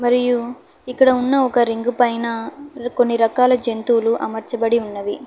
మరియు ఇక్కడ ఉన్న ఒక రింగ్ పైన కొన్ని రకాల జంతువులు అమర్చబడి ఉన్నవి.